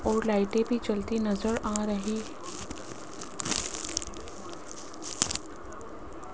और लाइटें भी जलती नजर आ रही --